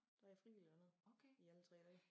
Der jeg frivillig dernede i alle 3 dage